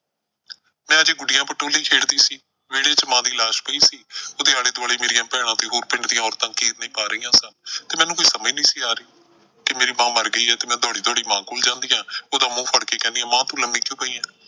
ਮੈਂ ਅਜੇ ਗੁੱਡੀਆਂ ਪਟੋਲੇ ਖੇਡਦੇ ਸੀ। ਵਿਹੜੇ ਚ ਮਾਂ ਦੀ ਲਾਸ਼ ਪਈ ਸੀ। ਉਹਦੇ ਆਲੇ ਦੁਆਲੇ ਮੇਰੀਆਂ ਭੈਣਾਂ ਤੇ ਹੋਰ ਪਿੰਡ ਦੀਆਂ ਔਰਤਾਂ ਕੀਰਨੇ ਪਾ ਰਹੀਆਂ ਸਨ ਤੇ ਮੈਨੂੰ ਕੁਝ ਸਮਝ ਨਹੀਂ ਸੀ ਆ ਰਹੀ ਕਿ ਮੇਰੀ ਮਾਂ ਮਰ ਗਈ ਐ ਤੇ ਮੈਂ ਦੌੜੀ ਦੌੜੀ ਮਾਂ ਕੋਲ ਜਾਂਦੀ ਆ ਉਹਦਾ ਮੂੰਹ ਫ਼ੜ ਕੇ ਕਹਿਨੀ ਆ ਮਾਂ ਤੂੰ ਲੰਮੀ ਕਿਉਂ ਪਈ ਆਂ।